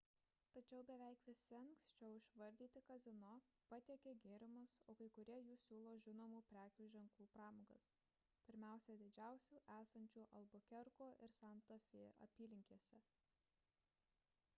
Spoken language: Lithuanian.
tačiau beveik visi anksčiau išvardyti kazino patiekia gėrimus o kai kurie jų siūlo žinomų prekių ženklų pramogas pirmiausia didžiausių esančių albukerko ir santa fė apylinkėse